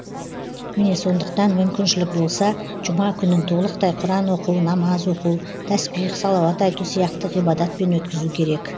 міне сондықтан мүмкіншілік болса жұма күнін толықтай құран оқу намаз оқу тәсбих салауат айту сияқты ғибадатпен өткізу керек